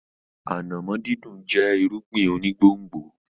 Ànàmọ́ dídùn jẹ́ irúgbìn onígbòǹgbò.